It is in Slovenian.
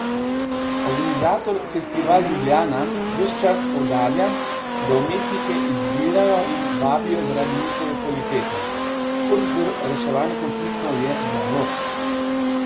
Organizator Festival Ljubljana ves čas poudarja, da umetnike izbirajo in vabijo zaradi njihove kvalitete: "Pot do reševanja konfliktov je dialog.